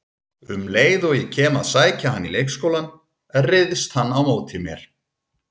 Um leið og ég kem að sækja hann í leikskólann, ryðst hann á móti mér